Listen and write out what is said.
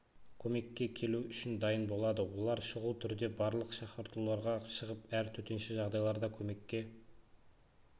көмекке келу үшін дайын болады олар шұғыл түрде барлық шақыртуларға шығып әр төтенше жағдайларда көмекке